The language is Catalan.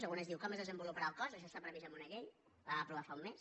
en algunes diu com es desen·voluparà el cos això està previst en una llei la vam aprovar fa un mes